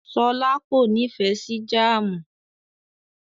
Ṣọlá kò nífẹ̀ẹ́ sí jáámù.